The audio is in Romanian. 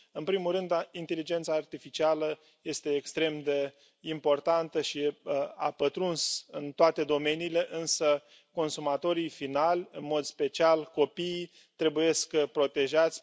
În primul rând, inteligența artificială este extrem de importantă și a pătruns în toate domeniile, însă consumatorii finali, în mod special copiii, trebuie protejați.